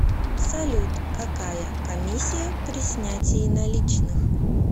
салют какая комиссия при снятии наличных